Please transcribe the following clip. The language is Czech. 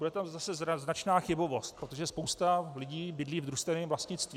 Bude tam zase značná chybovost, protože spousta lidí bydlí v družstevním vlastnictví.